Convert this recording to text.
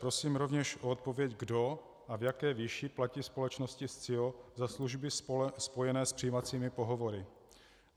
Prosím rovněž o odpověď, kdo a v jaké výši platí společnosti Scio za služby spojené s přijímacími pohovory.